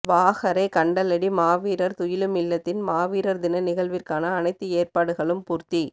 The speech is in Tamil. வாகரை கண்டலடி மாவீரர் துயிலுமில்லத்தின் மாவீரர் தின நிகழ்விற்கான அனைத்து ஏற்பாடுகளும் பூர்த்தி